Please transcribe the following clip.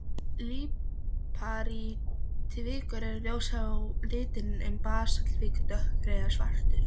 Líparítvikur er ljós á litinn en basaltvikur dökkur eða svartur.